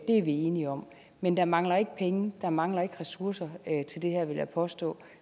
er vi enige om men der mangler ikke penge der mangler ikke ressourcer til det her vil jeg påstå